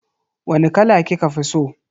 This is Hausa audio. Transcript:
Wani kala kika fi so?